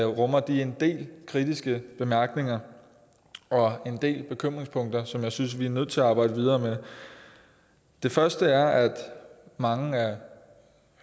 rummer de en del kritiske bemærkninger og en del bekymringspunkter som jeg synes at vi er nødt til at arbejde videre med det første er at mange af